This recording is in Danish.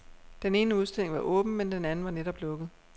Den ene udstilling var åben, men den anden var netop lukket.